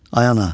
Ay ana.